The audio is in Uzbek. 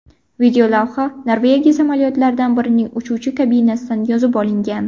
Videolavha Norvegiya samolyotlaridan birining uchuvchi kabinasidan yozib olingan.